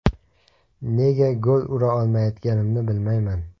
Nega gol ura olmayotganimni bilmayman.